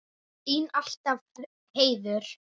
Þín alltaf, Heiður.